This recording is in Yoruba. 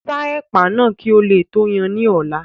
Sa ẹ̀pà náà kí o tó yan án ní ọ̀la.